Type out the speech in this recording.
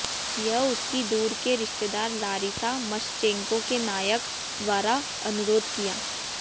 यह उसकी दूर के रिश्तेदार लारिसा मषचेंको के नायक द्वारा अनुरोध किया